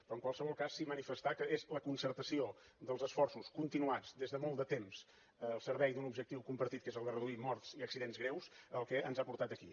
però en qualsevol cas sí manifestar que és la concertació dels esforços continuats des de molt de temps al servei d’un objectiu compartit que és el de reduir morts i accidents greus el que ens ha portat aquí